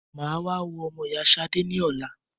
Mà á wá wo ọmọ ìyá Ṣadé ní ọ̀la.